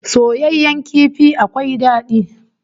Soyayyen kifi akwai dadi